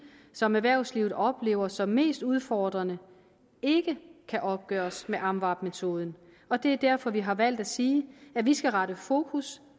som erhvervslivet oplever som mest udfordrende ikke kan opgøres med amvab metoden og det er derfor vi har valgt at sige at vi skal rette fokus